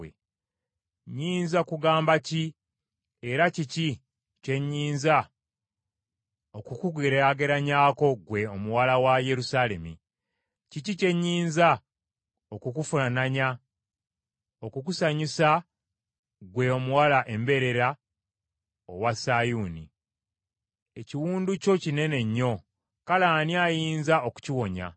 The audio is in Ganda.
Nnyinza kugamba ki, era kiki kye nnyinza okukugeraageranyaako ggwe Omuwala wa Yerusaalemi? Kiki kye nnyinza okukufaananya, okukusanyusa ggwe Omuwala Embeerera owa Sayuuni? Ekiwundu kyo kinene nnyo, kale ani ayinza okukiwonya?